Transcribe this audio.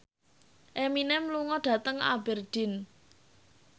Eminem lunga dhateng Aberdeen